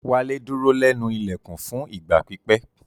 Wale duro lẹnu ilẹkun fun igba pipẹ